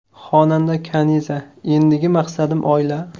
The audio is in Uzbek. Xonanda Kaniza: Endigi maqsadim oila!.